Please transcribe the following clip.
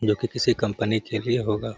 जो कि किसी कंपनी के लिए होगा